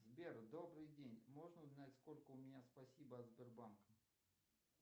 сбер добрый день можно узнать сколько у меня спасибо от сбербанка